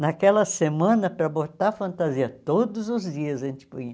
Naquela semana, para botar fantasia, todos os dias a gente punha.